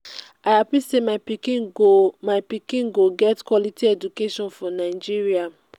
i happy say my pikin go my pikin go get quality education for nigeria.